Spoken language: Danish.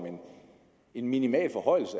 en minimal forhøjelse